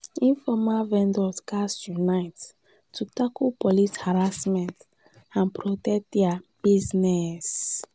informal vendors gats unite to tackle police harassment and protect dia business.